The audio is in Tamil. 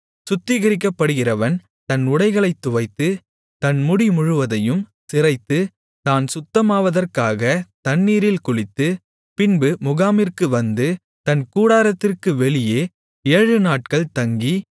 சுத்திகரிக்கப்படுகிறவன் தன் உடைகளைத் துவைத்து தன் முடி முழுவதையும் சிரைத்து தான் சுத்தமாவதற்காக தண்ணீரில் குளித்து பின்பு முகாமிற்கு வந்து தன் கூடாரத்திற்கு வெளியே ஏழுநாட்கள் தங்கி